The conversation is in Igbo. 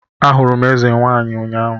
Ahụrụ m eze nwaanyị ụnyahụ